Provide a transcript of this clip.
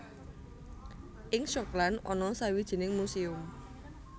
Ing Schokland ana sawijining muséum